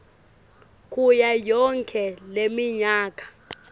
kuyo yonkhe leminyaka